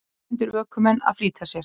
Erlendir ökumenn að flýta sér